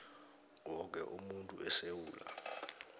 woke umuntu esewula